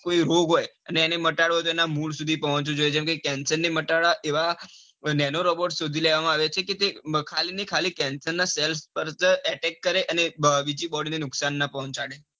રોગ હોય હવે એને મટાડવો હોય તો એના મૂળ સુધી પહોંચવું પડે. જેમકે cancer ને મટાડવા એવો nano robot શોધી લેવામાં આવ્યા છે. કે તે ખાલી ન ખાલી કેન્સર ના cells પર જ attack કરે ને બીજી body ને નુકસાન ના કરે.